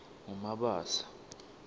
ngumabasa